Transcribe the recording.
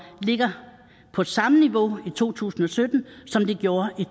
ligger på samme niveau i to tusind og sytten som de gjorde i